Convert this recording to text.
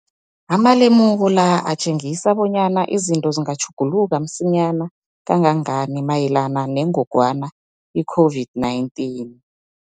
Amalemuko la atjengisa bonyana izinto zingatjhuguluka msinyana kangangani mayelana nengogwana i-COVID-19.